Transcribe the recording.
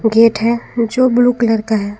Gate है जो blue colour का है।